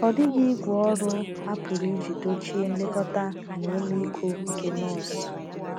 Ọ dịghị ígwè ọrụ a pụrụ iji dochie nlekọta na ọmịiko nke nọọsụ.